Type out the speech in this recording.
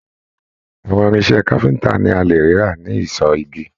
Àwọn irinṣẹ́ káfíntà ní a lè rí rà ní ìsọ igi.